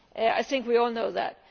I think we all know that.